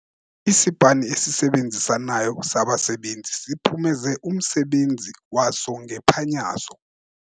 Isipani esisebenzisanayo sabasebenzi siphumeze umsebenzi waso ngephanyazo.